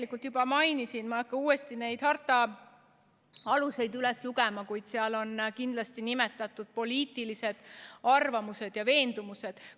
Nagu ma juba mainisin, ma ei hakka uuesti neid harta aluseid üles lugema, kuid seal on kindlasti nimetatud poliitilised arvamused ja veendumused.